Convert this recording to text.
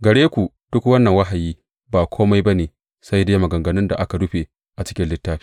Gare ku duk wannan wahayi ba kome ba ne sai dai maganganun da aka rufe a cikin littafi.